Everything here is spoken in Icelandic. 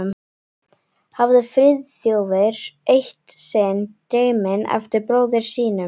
hafði Friðþjófur eitt sinn dreyminn eftir bróður sínum.